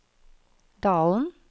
Dalen